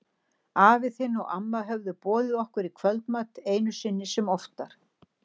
Afi þinn og amma höfðu boðið okkur í kvöldmat, einu sinni sem oftar.